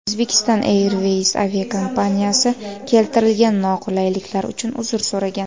Uzbekistan Airways aviakompaniyasi keltirilgan noqulayliklar uchun uzr so‘ragan.